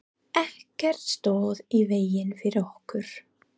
Ekkert stóð í vegi fyrir okkur.